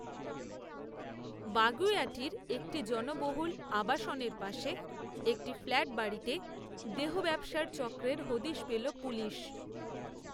বাগুইআটির, একটি জনবহুল, আবাসনের পাশে, একটি ফ্ল্যাটবাড়িতে, দেহব্যবসার চক্রের হদিস পেল পুলিশ